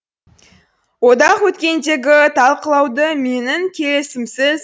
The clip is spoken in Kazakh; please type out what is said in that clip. одақ өткендегі талқылауды менің келісімімсіз